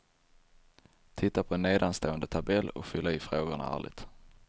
Titta på nedanstående tabell och fyll i frågorna ärligt.